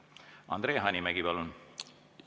Andre Hanimägi, palun!